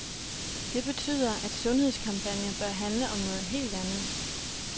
Det betyder, at sundhedskampagner bør handle om noget helt andet.